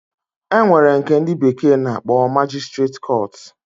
Enwere nke ndi bekee na-akpo magistrate court.